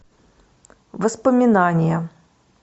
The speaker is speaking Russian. воспоминания